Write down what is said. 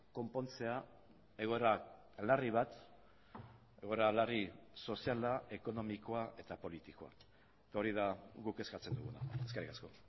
konpontzea egoera larri bat egoera larri soziala ekonomikoa eta politikoa eta hori da guk eskatzen duguna eskerrik asko